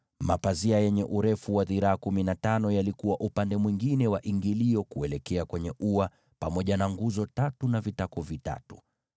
Mapazia yenye urefu wa dhiraa kumi na tano yalikuwa upande mwingine wa ingilio la ua, pamoja na nguzo tatu na vitako vitatu.